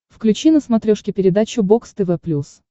включи на смотрешке передачу бокс тв плюс